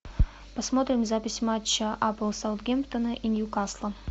посмотрим запись матча апл саунгемптона и ньюкасл